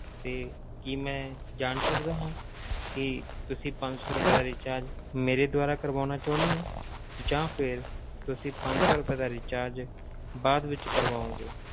ਤੇ ਕੀ ਮੈਂ ਜਾਣ ਸਕਦਾ ਹਾਂ ਕਿ ਤੁਸੀਂ ਪੰਜ ਸੌ ਰੁਪਏ ਦਾ recharge ਮੇਰੇ ਦੁਆਰਾ ਕਰਵਾਉਣਾ ਚਾਹੁੰਦੇ ਹੋ, ਜਾਂ ਫਿਰ ਤੁਸੀਂ ਪੰਜ ਸੌ ਰੁਪਏ ਦਾ recharge ਬਾਅਦ ਵਿੱਚ ਕਰਵਾਓਗੇ?